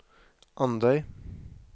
Andøy